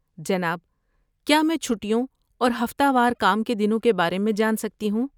جناب، کیا میں چھٹیوں اور ہفتہ وار کام کے دنوں کے بارے میں جان سکتی ہوں؟